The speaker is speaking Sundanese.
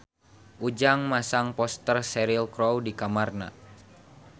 Ujang masang poster Cheryl Crow di kamarna